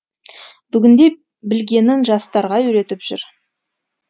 бүгінде білгенін жастарға үйретіп жүр